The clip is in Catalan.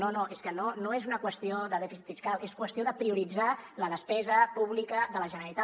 no no és que no és una qüestió de dèficit fiscal és qüestió de prioritzar la despesa pública de la generalitat